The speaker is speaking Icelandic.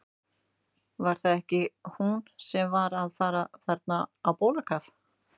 Var það ekki hún sem var að fara þarna á bólakaf?